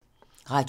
Radio 4